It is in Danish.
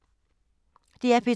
DR P2